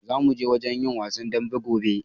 Zamu je wajen yin wasan daɓen gobe.